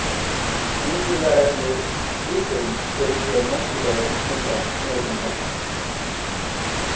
Mýkingarefnið glýserín fer illa í meltingarveg sumra neytenda.